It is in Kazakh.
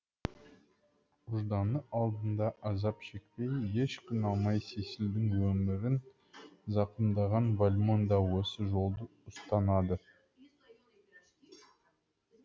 ұжданы алдында азап шекпей еш қиналмай сесильдің өмірін зақымдаған вальмон да осы жолды ұстанады